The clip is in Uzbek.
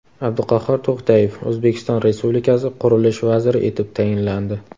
Abduqahhor To‘xtayev O‘zbekiston Respublikasi qurilish vaziri etib tayinlandi.